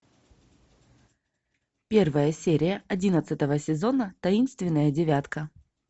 первая серия одиннадцатого сезона таинственная девятка